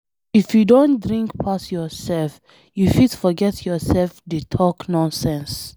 If you don drink pass yourself, you fit forget yourself dey talk nonsense.